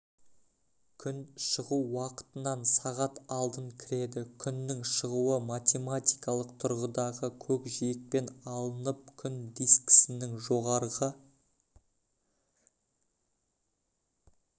күн шығу уақытынан сағат алдын кіреді күннің шығуы математикалық тұрғыдағы көкжиекпен алынып күн дискінің жоғарғы